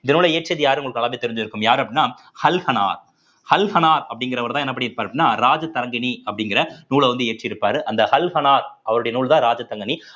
இந்த நூல இயற்றியது யாரு உங்களுக்கு நல்லாவே தெரிஞ்சிருக்கும் யாரு அப்படின்னா ஹல் ஹனா ஹல் ஹனா அப்படிங்கிறவர்தான் என்ன பண்ணியிருப்பார் அப்படின்னா ராஜதரங்கிணி அப்படிங்கிற நூல வந்து இயற்றியிருப்பாரு அந்த ஹல் ஹனா அவருடைய நூல்தான் ராஜதரங்கிணி